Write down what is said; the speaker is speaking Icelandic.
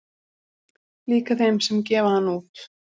Líka þeim sem gefa hann út